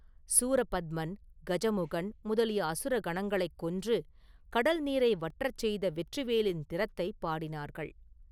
சூரபத்மன், கஜமுகன் முதலிய அசுர கணங்களைக்கொன்று, கடல் நீரை வற்றச் செய்த வெற்றிவேலின் திறத்தைப் பாடினார்கள்.